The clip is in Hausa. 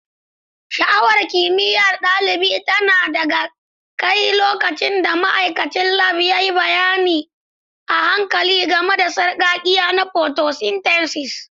Sha'awar kimiyyar ɗalibi tana ɗaga kai lokacin da ma'aikacin Lab ya yi bayani a hankali game da sarƙaƙƙiya na photosynthesis.